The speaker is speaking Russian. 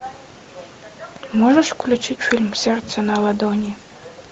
можешь включить фильм сердце на ладони